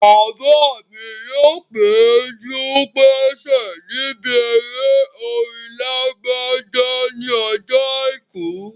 Bàbá mi yóò péjú-pésẹ̀ níbi eré orin Lágbájá ní ọjọ́ àìkú